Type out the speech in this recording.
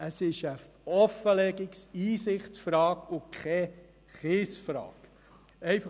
Es geht hier um Offenlegung oder Einsichtnahme und nicht um die Kiesfrage.